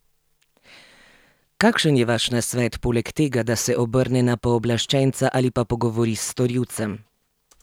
Kakšen je vaš nasvet, poleg tega, da se obrne na pooblaščenca ali pa pogovori s storilcem?